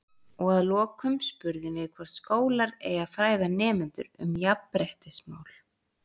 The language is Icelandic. Og að lokum spurðum við hvort skólar eigi að fræða nemendur um jafnréttismál?